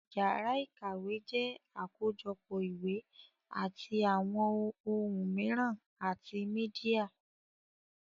Yàrá ìkàwé jẹ́ àkójọpọ̀ ìwé àti àwọn ohun mìíràn àti mídíà